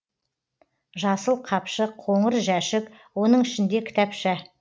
жасыл қапшық қоңыр жәшік оның ішінде кітапша